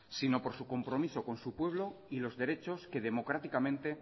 sino por su compromiso con su pueblo y los derechos que democráticamente